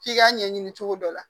F'i k'a ɲɛɲini cogo dɔ la